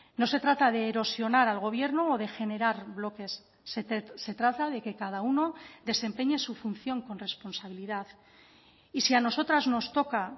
no se trata de erosionar al gobierno o de generar bloques se trata de que cada uno desempeñe su función con responsabilidad y si a nosotras nos toca